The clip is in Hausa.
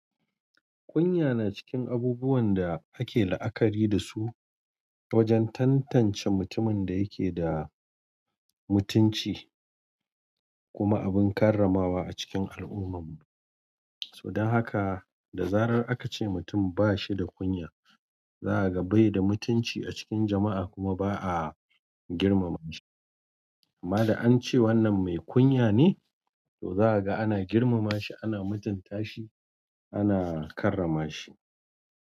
Kunya na cikin abubuwan da ake la'akari dasu wajen tantance mutumin da yake da mutunci kuma abun karramawa a cikin al'umman mu. So dan haka, da zarar aka ce mutum ba shi da kunya, za a ga bai da mutunci a cikin jama'a kuma ba a girmama shi. Amma da an ce wannan mai kunya ne, to za a ga ana girmama shi, ana mutunta shi ana karrama shi.